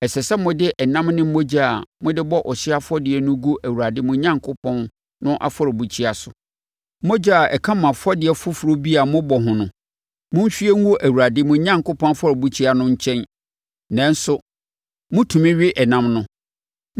Ɛsɛ sɛ mode ɛnam ne mogya a mode bɔ ɔhyeɛ afɔdeɛ no gu Awurade mo Onyankopɔn no afɔrebukyia so. Mogya a ɛka mo afɔdeɛ foforɔ bi a mobɔ ho no, monhwie ngu Awurade, mo Onyankopɔn, afɔrebukyia no nkyɛn nanso motumi we ɛnam no.